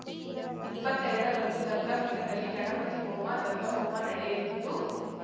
ಇಪ್ಪತ್ತೆರಡ ರಂದು ದತ್ತಪೀಠದಲ್ಲಿ ಗಣಪತಿ ಹೋಮ ದತ್ತಹೋಮ ನಡೆಯಲಿದ್ದು